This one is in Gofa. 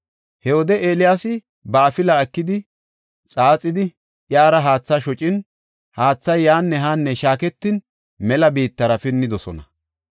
He wode Eeliyaasi ba afilaa ekidi xaaxidi, iyara haatha shocin, haathay yaanne haanne shaaketin mela biittara pinnidosona.